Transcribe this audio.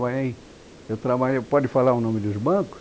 eu trabalhei, pode falar o nome dos bancos?